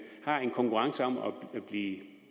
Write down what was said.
har en konkurrence om at blive